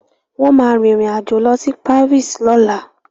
Wọ́n ma rìn rìn àjò lọ sí Paris lọ́la